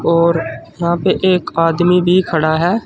और यहां पे एक आदमी भी खड़ा है।